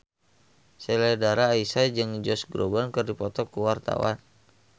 Sheila Dara Aisha jeung Josh Groban keur dipoto ku wartawan